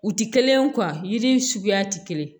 U ti kelen ye yiri suguya ti kelen ye